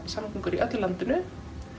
samgöngur í öllu landinu